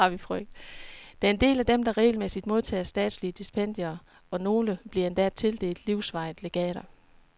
Der er en del af dem, der regelmæssigt modtager statslige stipendier, og nogle bliver endda tildelt livsvarige legater.